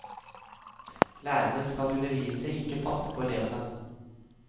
Lærerne skal undervise, ikke passe på elevene.